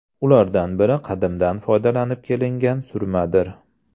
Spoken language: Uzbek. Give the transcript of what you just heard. Ulardan biri qadimdan foydalanib kelingan surmadir.